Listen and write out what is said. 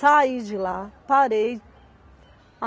de lá, parei.